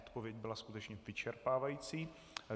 Odpověď byla skutečně vyčerpávající.